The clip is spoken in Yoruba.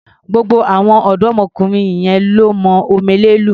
Gbogbo àwọn ọ̀dọ́mọkùnrin yẹn lọ́ mọ omele lù.